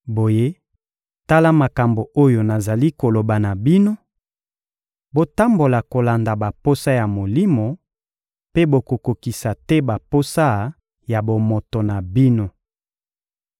Boye, tala makambo oyo nazali koloba na bino: Botambola kolanda baposa ya Molimo, mpe bokokokisa te baposa ya bomoto na bino.